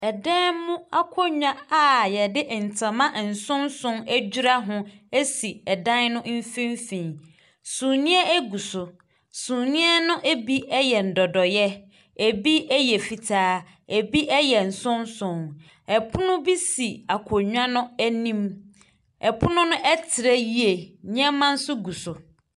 Ɛdan mu akonnwa a wɔde ntoma nsonson adura ho si ɛdan no mfimfini. Sumiiɛ gu so. Sumiiɛ no bi yɛ nnodoeɛ, ɛbi yɛ fitaa, ɛbi yɛ nsonson. Pono bi si akonnwa no anim. Pono no trɛ yie. Nneɛmanso gu so.